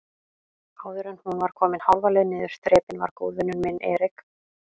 Áðuren hún var komin hálfa leið niður þrepin var góðvinur minn Erik